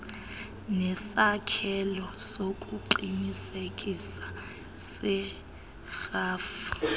nesakhelo sokuqinisekisa serhafu